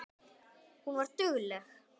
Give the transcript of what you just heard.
Hún var dugleg.